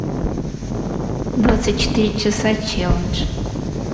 двадцать четыре часа челлендж